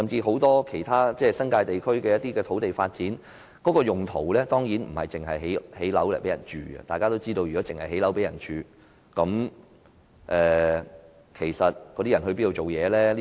很多新界地區的土地發展，當然不只是全部用作興建住宅單位；如果是，當區居民要到哪兒工作？